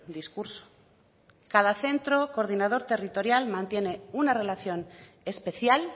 discurso cada centro coordinador territorial mantiene una relación especial